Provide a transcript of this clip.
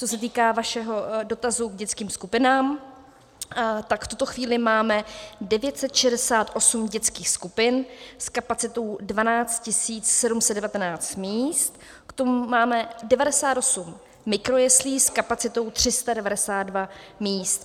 Co se týká vašeho dotazu k dětským skupinám, tak v tuto chvíli máme 968 dětských skupin s kapacitou 12 719 míst, k tomu máme 98 mikrojeslí s kapacitou 392 míst.